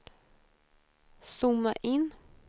zooma in